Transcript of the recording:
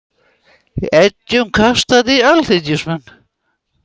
Eggjum kastað í alþingismenn